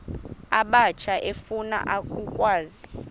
abatsha efuna ukwazi